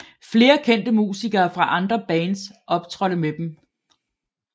Flere kendte musikere fra andre bands optrådte med dem